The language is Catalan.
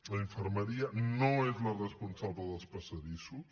la infermeria no és la responsable dels passadissos